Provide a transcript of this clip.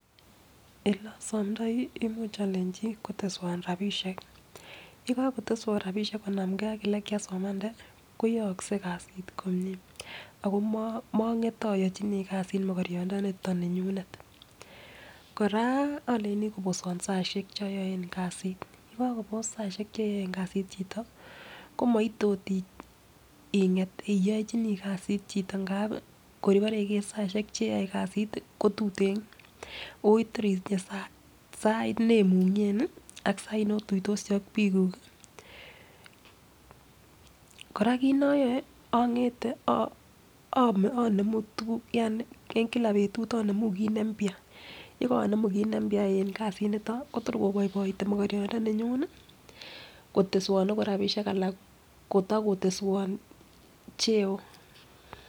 Ele osomdoi imuch olenchi koteswon rabishek, yekokoteswon rabishek konamgee ak ele kiasomanda koyoksei kasit komie ako mongete oyochini kasit mokoriondoniton ninyunet. Kora olenjini koboswon saishek choton kasit, yekokobos saishek cheyoe kasit chito komoite ot inget oyochini kasit chito ngap kor ibore ikere saishek cheyoe kasit ko tuten otor itinye sait nemungen nii ak sait notutosi ak bikkuk. Koraa kit noyoe ongete inemu tukuk yani en kila betut omemu kit nembya, yekomenu kit nembya en kasit niton kotor koboiboitu mokoriot ndoninyun nii koteswon rabishek alan kotokoteswon cheo.